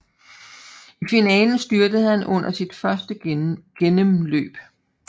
I finalen styrtede han under sit første gennemløb